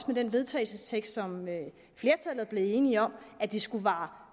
med den vedtagelsestekst som flertallet er blevet enige om at det skulle vare